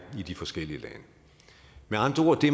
i de forskellige lande med andre ord det